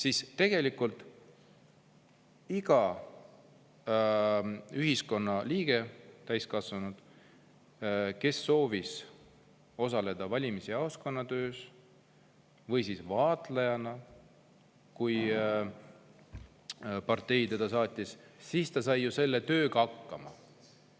Iga täiskasvanud ühiskonnaliige, kes soovis osaleda valimisjaoskonna töös või olla vaatlejana kohal, kui partei teda saatis, sai selle tööga hakkama.